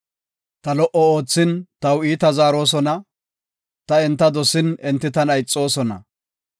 Ta lo77o oothin, taw iita zaarosona; ta enta dosin, enti tana ixoosona.